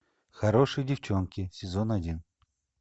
хорошие девчонки сезон один